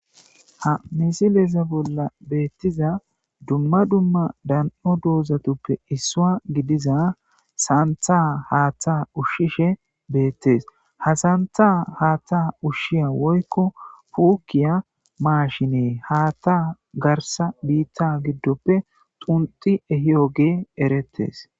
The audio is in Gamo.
Ha misileza bolla betiza dumma dumma dano dozatape issuwa gidiza santha hatha ushishe betes ha santha hatha ushiya woyko pukiya mashiney hata garsa bita gidope xunxi ehiyogey eretes